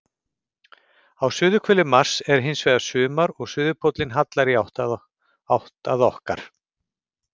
Á suðurhveli Mars er hins vegar sumar og suðurpóllinn hallar í átt að okkar.